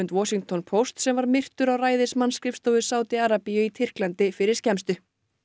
Washington Post sem myrtur var á ræðismannsskrifstofu Sádi Arabíu í Tyrklandi fyrir skemmstu